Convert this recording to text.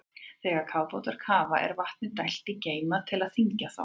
Þegar kafbátar kafa er vatni dælt í geyma til að þyngja þá.